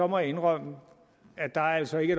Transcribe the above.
må indrømme at der altså ikke